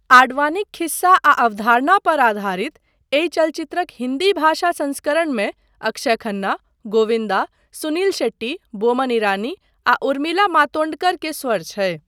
आडवाणीक खिस्सा आ अवधारणा पर आधारित, एहि चलचित्रक हिन्दी भाषा संस्करणमे अक्षय खन्ना, गोविन्दा, सुनील शेट्टी, बोमन ईरानी, आ उर्मिला मातोण्डकर के स्वर छै।